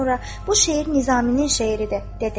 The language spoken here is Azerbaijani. "Bu şeir Nizaminin şeiridir," dedi.